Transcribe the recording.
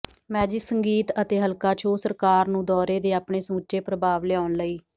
magic ਸੰਗੀਤ ਅਤੇ ਹਲਕਾ ਛੋਹ ਸਰਕਾਰ ਨੂੰ ਦੌਰੇ ਦੇ ਆਪਣੇ ਸਮੁੱਚੇ ਪ੍ਰਭਾਵ ਲਿਆਉਣ ਲਈ